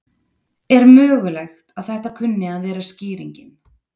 Er mögulegt að þetta kunni að vera skýringin?